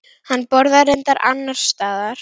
Hann borðaði reyndar annars staðar.